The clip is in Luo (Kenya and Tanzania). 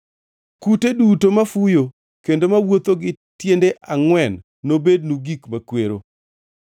“ ‘Kute duto mafuyo kendo mawuotho gi tiende angʼwen nobednu gik makwero.